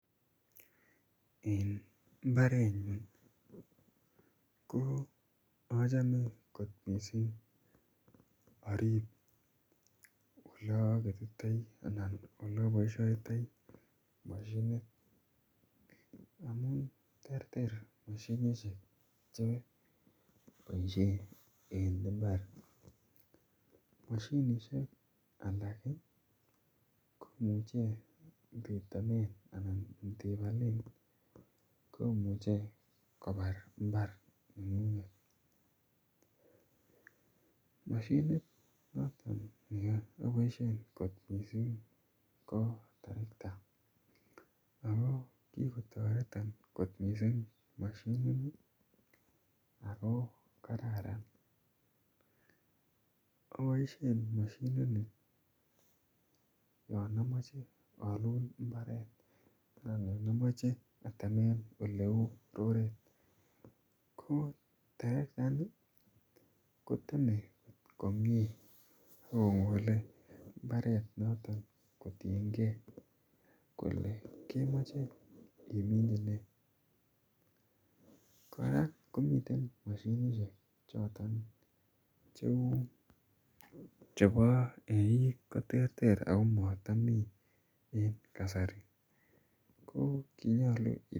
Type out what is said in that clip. En mbarenyun ko achame kot missing' arip ole aketitai ana ole apishaitai mosinit amun terter mosinisiek che kepaishen en mbar. Mosinisiek alak komuchen ketamen anan kepalen komuchi kopar mbar neng'ung'et. Mosinit noton ne apaishe kot missing' ko torakta ako kikotaretan kot missing' mosinini ako kararan. Apaishe mosinini ya amache alul mbaret anan amachen ateme oleu roret. Ko terektaini koteme komye ak kokole mbaret noton kotiengei kole kemache iminchi nee. Kora ko miten mosinisiek choton cheu chepo eeik koter ter ako ma tami en kasari. Ko kinyalu ..